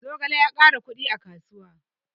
Zogale ya ƙara kuɗi a kasuwa